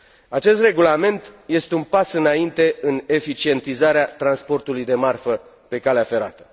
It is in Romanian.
Acest Regulament este un pas înainte în eficientizarea transportului de marfă pe calea ferată.